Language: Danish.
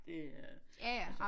Det er altså